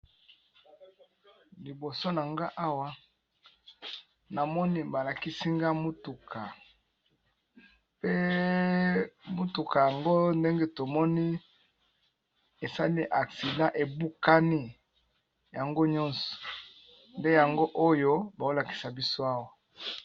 Liboso na nga awa namoni balakisi nga mutuka, pe mutuka yango ndenge tomoni esali accident, ebukani yango nyonso nde yango oyo baolakisa biso awa.